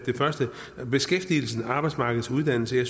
beskæftigelsen og arbejdsmarkedsuddannelserne at